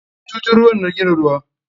Bututun ruwan na gina ruwa.